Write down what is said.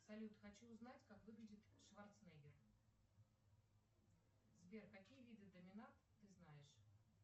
салют хочу узнать как выглядит шварценеггер сбер какие виды доминант ты знаешь